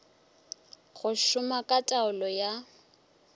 go šoma ka taolo ya